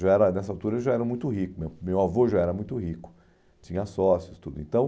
já era Nessa altura já era muito rico né, meu avô já era muito rico, tinha sócios, tudo. Então